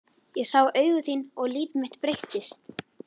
Ég sá augu þín og líf mitt breyttist.